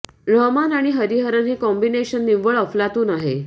रहमान आणि हरिहरन हे कॉम्बिनेशन निव्वळ अफलातून आहे